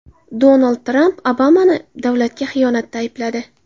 Donald Tramp Obamani davlatga xiyonatda aybladi.